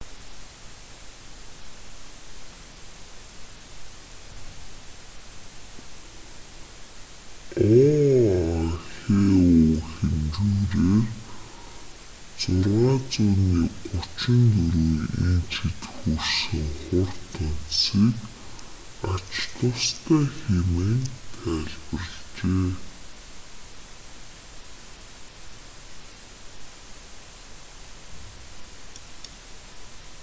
оаху хэмжүүрээр 6,34 инчэд хүрсэн хур тунадасыг ач тустай хэмээн тайлбарлажээ